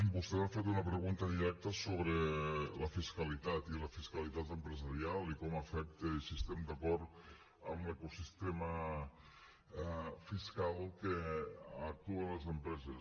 vostè ha fet una pregunta directa sobre la fiscalitat i la fiscalitat empresarial i com afecta i si estem d’acord amb l’ecosistema fiscal que actua en les empreses